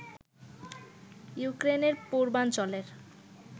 ইউক্রেনের পূর্বাঞ্চলের